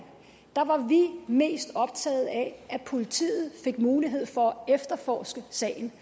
var mest optaget af at politiet fik mulighed for at efterforske sagen